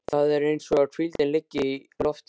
Það er eins og hvíldin liggi í loftinu.